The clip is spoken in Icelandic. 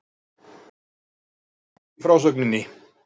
Hún missti flugið í frásögninni.